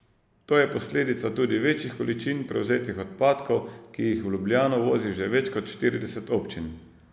To je posledica tudi večjih količin prevzetih odpadkov, ki jih v Ljubljano vozi že več kot štirideset občin.